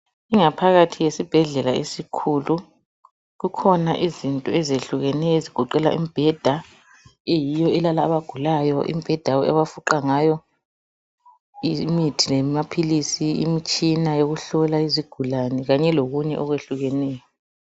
Ingaphakathi yesibhedlela esikhulu. Kukhona izinto ezehlukeneyo okunjenge mibheda eyiyo elala abagulayo, imibheda abafuqa ngayo imithi lamaphilisi imitshina yokufuqa izigulane kanye lokunye okwehlukeneyo.